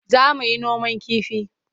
Za mu yi noman kifi.